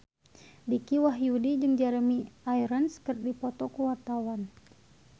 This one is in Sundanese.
Dicky Wahyudi jeung Jeremy Irons keur dipoto ku wartawan